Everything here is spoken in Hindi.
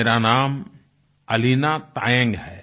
मेरा नाम अलीना तायंग है